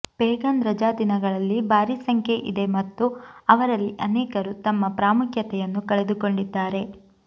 pagan ರಜಾದಿನಗಳಲ್ಲಿ ಭಾರಿ ಸಂಖ್ಯೆಯಿದೆ ಮತ್ತು ಅವರಲ್ಲಿ ಅನೇಕರು ತಮ್ಮ ಪ್ರಾಮುಖ್ಯತೆಯನ್ನು ಕಳೆದುಕೊಂಡಿದ್ದಾರೆ